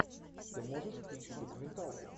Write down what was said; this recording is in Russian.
ты можешь включить документалку